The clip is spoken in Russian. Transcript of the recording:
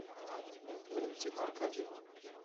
валентина аркадьевна